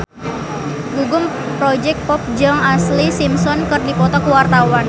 Gugum Project Pop jeung Ashlee Simpson keur dipoto ku wartawan